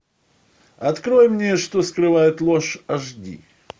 открой мне что скрывает ложь аш ди